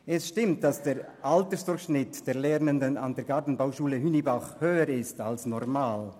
Erstens: Es stimmt, dass der Altersdurchschnitt der Lernenden an der Gartenbauschule Hünibach höher ist als normal.